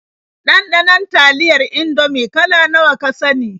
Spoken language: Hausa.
Ɗanɗanon taliyar Indomie kala nawa ka sani?